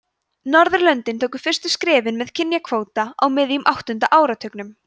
norðurlöndin tóku fyrstu skrefin með kynjakvóta á miðjum áttunda áratugnum